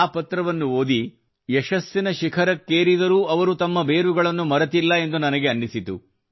ಆ ಪತ್ರವನ್ನು ಓದಿ ಯಶಸ್ಸಿನ ಶಿಖರಕ್ಕೇರಿದರೂ ಅವರು ತಮ್ಮ ಬೇರುಗಳನ್ನು ಮರೆತಿಲ್ಲ ಎಂದು ನನಗೆ ಅನ್ನಿಸಿತು